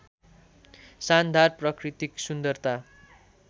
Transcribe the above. शानदार प्राकृतिक सुन्दरता